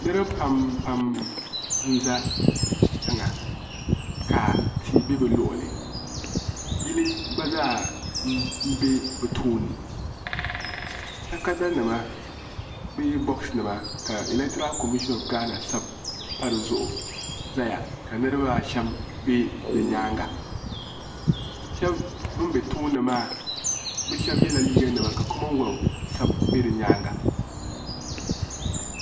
Niriba pam pam n za tiŋa ka tia bɛ bi luɣuli yili gba zaa n bɛ bi tooni takada nima bee bɔks nima ka elektiral komishin ɔf gaana sabi pa di zuɣu zaya ka niriba asham bɛ di nyaanga shɛba bin bɛ tooni maa bi shɛba yɛla liiga nima ka komonwelf sabi bɛ di nyaanga.